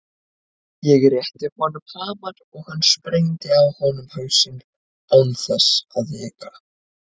Ég rétti honum hamar og hann sprengdi á honum hausinn án þess að hika.